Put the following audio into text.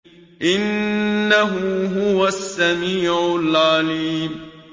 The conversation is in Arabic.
إِنَّهُ هُوَ السَّمِيعُ الْعَلِيمُ